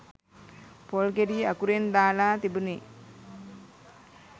පොල් ගෙඩි අකුරින් දාලා තිබුණෙ